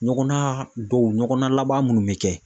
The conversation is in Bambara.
Ɲɔgɔna dɔw ɲɔgɔna laban minnu bɛ kɛ.